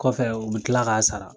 Kɔfɛ u bi kila k'a sara.